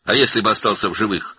Bəs əgər sağ qalsaydı?